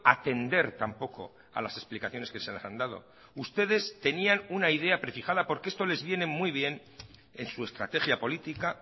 atender tampoco a las explicaciones que se les han dado ustedes tenían una idea prefijada porque esto les viene muy bien en su estrategia política